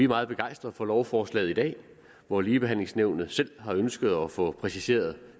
meget begejstret for lovforslaget i dag hvor ligebehandlingsnævnet selv har ønsket at få præciseret